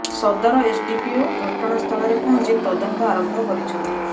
ସଦର ଏସଡ଼ିପିଓ ଘଟଣା ସ୍ଥଳରେ ପହଞ୍ଚି ତଦନ୍ତ ଆରମ୍ଭ କରିଛନ୍ତି